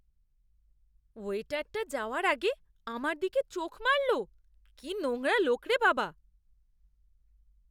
ওয়েটারটা যাওয়ার আগে আমার দিকে চোখ মারল। কি নোংরা লোক রে বাবা!